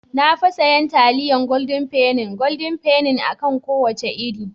Na fi siyan taliyar goldin feni (Golden penny) a kan kowace iri.